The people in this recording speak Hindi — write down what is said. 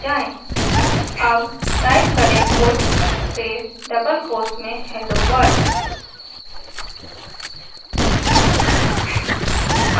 अब टाइप करें puts space डबल कोट्स में hello world